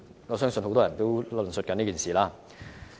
我相信很多人都在討論這件事。